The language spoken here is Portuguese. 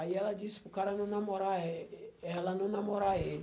Aí ela disse para o cara não namorar eh ela não namorar ele.